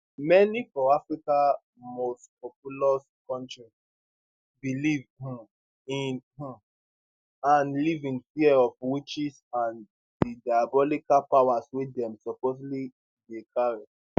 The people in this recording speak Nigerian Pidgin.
many for africa mostpopulous kontri believe um in um and live in fear of witches and di diabolical powers wey dem supposedly dey carry